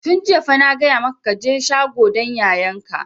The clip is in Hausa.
Tun jiya fa na gaya maka ka je shagon dan yayan ka!